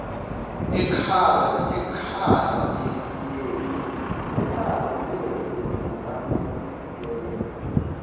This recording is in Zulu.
ekhala myeke ngingayigeza